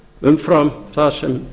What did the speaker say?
umfram það sem